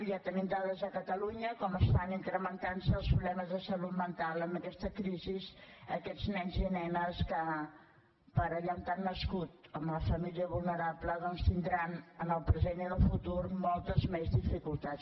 ja tenim dades a catalunya de com estan incrementant se els problemes de salut mental amb aquesta crisi d’aquests nens i nenes que per allà on han nascut amb la família vulnerable doncs tindran en el present i en el futur moltes més dificultats